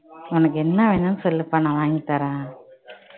உனக்கு என்ன வேணும்னு சொல்லுப்பா நான் வாங்கி தரேன்